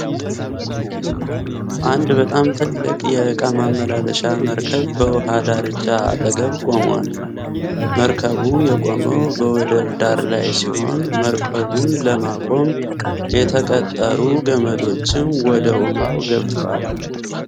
አንድ በጣም ትልቅ የእቃ ማመላለሻ መርከብ በዉሃ ዳርቻ አጠገብ ቆሟል። መርከቡ የቆመው በወደብ ዳር ላይ ሲሆን መርከቡን ለማቆም የተቀጠሩ ገመዶችም ወደ ዉሃው ገብተዋል።